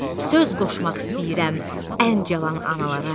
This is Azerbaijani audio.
Söz qoşmaq istəyirəm ən cavan analara.